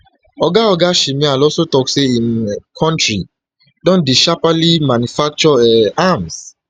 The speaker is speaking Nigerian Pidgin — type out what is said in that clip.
oga oga shmyhal also tok say im um kontri don dey sharply manufacture um arms